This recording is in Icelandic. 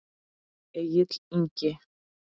Egill Ingi.